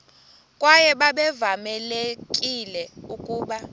kwaye babevamelekile ukuba